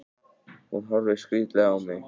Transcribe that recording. Hún horfir skrítilega á mig.